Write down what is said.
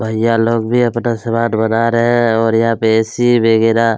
भैया लोग भी अपना समान बना रहै हैं और यहाँ पे ए_सी वगेरा।